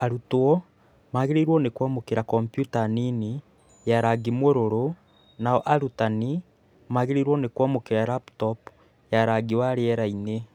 Arutwo magĩrĩirwo nĩ kwamũkĩra komputa nini ya rangi mũruru, nao arutani magĩrĩirwo nĩ kwamũkĩra laptop ya rangi wa rĩera-inĩ .